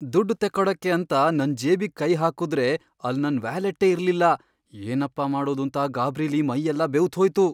ದುಡ್ಡ್ ತೆಕ್ಕೊಡಕ್ಕೆ ಅಂತ ನನ್ ಜೇಬಿಗ್ ಕೈ ಹಾಕುದ್ರೆ ಅಲ್ಲ್ ನನ್ ವ್ಯಾಲೆಟ್ಟೇ ಇರ್ಲಿಲ್ಲ! ಏನಪ್ಪ ಮಾಡೋದೂಂತ ಗಾಬ್ರಿಲಿ ಮೈಯೆಲ್ಲ ಬೆವ್ತ್ಹೋಯ್ತು.